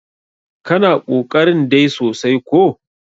kana ƙoƙarin dai sosai ko!